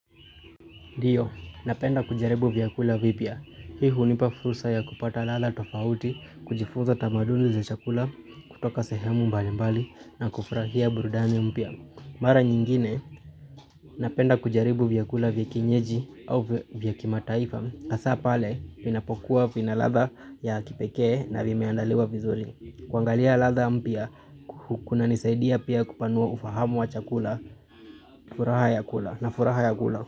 Ndio, napenda kujaribu vyakula vipya. Hii hunipa fursa ya kupata lala tofauti, kujifuza tamaduni za chakula, kutoka sehemu mbali mbali na kufurahia burudnii mpya. Mara nyingine, napenda kujaribu vyakula vyakienyeji au vyakimataifa, hasapale vinapokuwa vinaladha ya kipekee na vimeandaliwa vizuri. Kuangalia ladha mpya, kuna nisaidia pia kupanua ufahamu wa chakula, furaha ya kula na furaha ya kula.